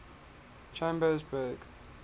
chambersburg